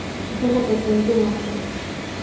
Dalagga dodo waa caan.